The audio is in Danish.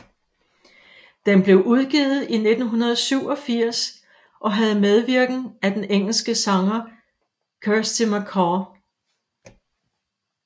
Den blev udgivet i 1987 og havde medvirken af den engelske sanger Kirsty MacColl